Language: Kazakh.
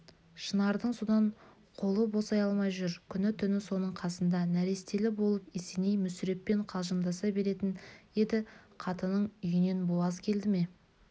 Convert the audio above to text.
шынардың содан қолы босай алмай жүр күні-түні соның қасында нәрестелі болып есеней мүсіреппен қалжыңдаса беретін еді қатының үйінен буаз келді ме